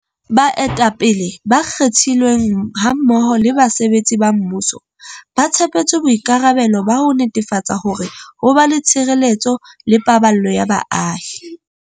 Baetapele ba kgethilweng hammoho le basebetsi ba mmuso, ba tshepetswe boikarabelo ba ho netefatsa hore ho ba le tshireletso le paballo ya baahi.